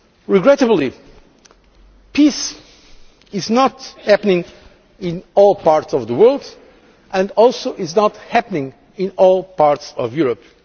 Regrettably, peace is not the case in all parts of the world, and also it is not happening in all parts of Europe.